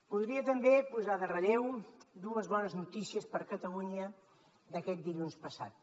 voldria també posar en relleu dues bones notícies per a catalunya d’aquest dilluns passat